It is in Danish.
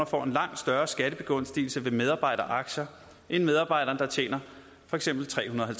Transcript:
får en langt større skattebegunstigelse ved medarbejderaktier end medarbejderen der tjener for eksempel trehundrede